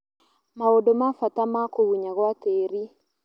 Maũndũ ma bata ma kũgunyan gwa tĩri